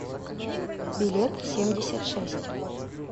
билет семьдесят шесть